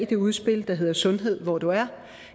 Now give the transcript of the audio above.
det udspil der hedder sundhed hvor du er